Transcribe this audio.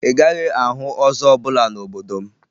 Ị gaghị ahụ ọzọ ọbụla n'obodo m